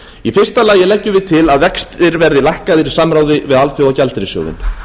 í fyrsta lagi leggjum við til að vextir verði lækkaðir í samráði við alþjóðagjaldeyrissjóðinn